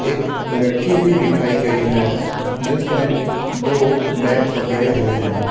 एक लड़की भी दिखाई गई है जिसने दो बैग पकड़े हुए हैं।